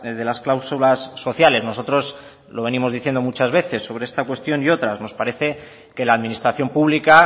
de las cláusulas sociales nosotros lo venimos diciendo muchas veces sobre esta cuestión y otras nos parece que la administración pública